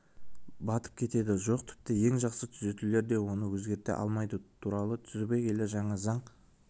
батып кетеді жоқ тіпті ең жақсы түзетулер де оны өзгерте алмайды туралы түбегейлі жаңа заң